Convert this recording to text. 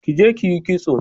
Ki je ki yi kitso!